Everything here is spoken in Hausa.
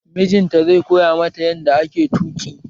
Mijin ta zai koya mata yanda ake tuƙi